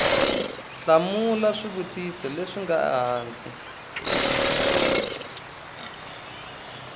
hlamula swivutiso leswi nga hansi